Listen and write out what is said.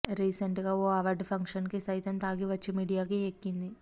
recent గా ఓ award function కు సైతం తాగి వచ్చి మీడియాకు ఎక్కింది